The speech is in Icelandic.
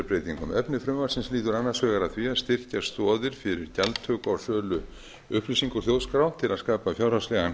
breytingum efni frumvarpsins lýtur annars vegar að því að styrkja stoðir fyrir gjaldtöku og sölu upplýsingar úr þjóðskrá til að skapa fjárhagslegan